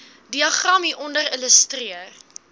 diagram hieronder illustreer